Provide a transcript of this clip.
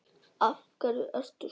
Af hverju ertu svona?